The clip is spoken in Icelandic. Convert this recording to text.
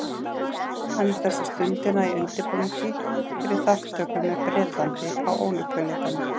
Hann er þessa stundina í undirbúningi fyrir þátttöku með Bretlandi á Ólympíuleikunum.